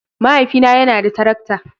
Mahaifina yana da tarakta